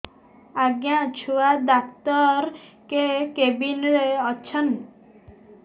ଆଜ୍ଞା ଛୁଆ ଡାକ୍ତର କେ କେବିନ୍ ରେ ଅଛନ୍